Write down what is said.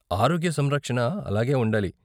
ఆరోగ్య సంరక్షణ అలాగే ఉండాలి.